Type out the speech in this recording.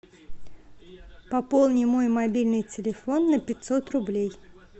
пополни мой мобильный телефон на пятьсот рублей